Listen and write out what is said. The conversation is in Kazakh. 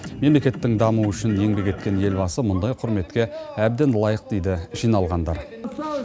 мемлекеттің дамуы үшін еңбек еткен елбасы мұндай құрметке әбден лайық дейді жиналғандар